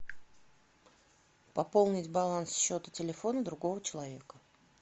пополнить баланс счета телефона другого человека